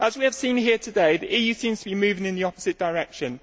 As we have seen here today, the EU seems to be moving in the opposite direction.